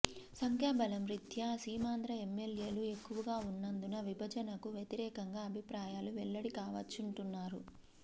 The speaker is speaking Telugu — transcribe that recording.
సంఖ్యాబలం రీత్యా సీమాంధ్ర ఎమ్మెల్యేలు ఎక్కువగా ఉన్నందున విభజనకు వ్యతిరేకంగా అభిప్రాయాలు వెల్లడి కావచ్చంటున్నారు